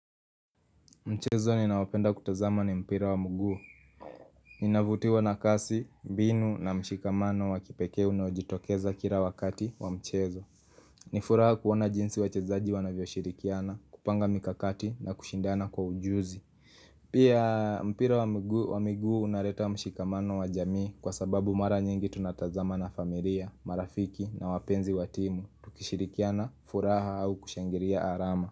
Mchezo ninaopenda kutazama ni mpira wa mguu Ninavutiwa na kasi, mbinu na mshikamano wa kipekee unaojitokeza kila wakati wa mchezo Nifuraha kuona jinsi wachezaji wanavyoshirikiana, kupanga mikakati na kushindana kwa ujuzi Pia mpira wa mguu unaleta mshikamano wa jamii kwa sababu mara nyingi tunatazama na familia, marafiki na wapenzi wa timu Tukishirikiana, furaha au kushangilia alama.